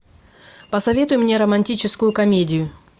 посоветуй мне романтическую комедию